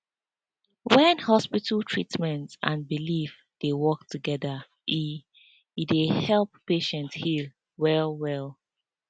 wen hospital treatment and belief dey work together e e dey help patient heal wellwell